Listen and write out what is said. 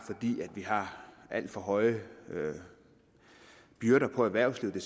alt for høje byrder på erhvervslivet